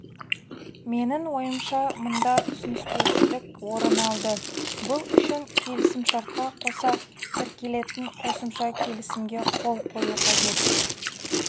менің ойымша мұнда түсініспеушілік орын алды бұл үшін келісімшартқа қоса тіркелетін қосымша келісімге қол қою қажет